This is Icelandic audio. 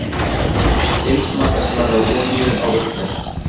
Heimsmarkaðsverð á olíu á uppleið